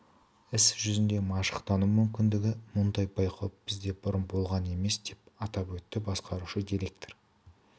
іс жүзінде машықтану мүмкіндігі мұндай байқау бізде бұрын болған емес деп атап өтті басқарушы директор